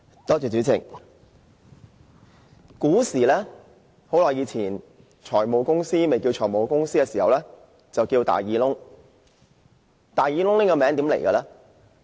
主席，古時、很久以前，財務公司還未叫作財務公司時，稱為"大耳窿"。